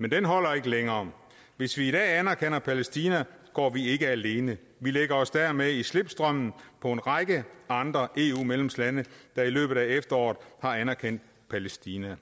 men den holder ikke længere hvis vi i dag anerkender palæstina går vi ikke alene men lægger os dermed i slipstrømmen på en række andre eu medlemslande der i løbet af efteråret har anerkendt palæstina